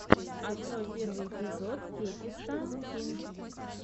открой первый эпизод кекистан кинг